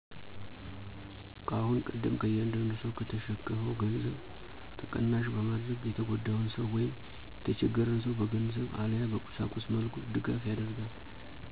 ከአሁን ቀደም ከእያንዳዱ ሰው ከተሸከፋው ገንዘብ ተቀናሽ በማድረግ የተጎዳን ሰው ወይም የተቸገርን ሰው በገንዘብ አለያ በቁሳቁስ መልኩ ድጋፍ ይደርጋል።